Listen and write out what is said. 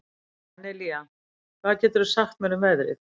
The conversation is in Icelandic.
Daníela, hvað geturðu sagt mér um veðrið?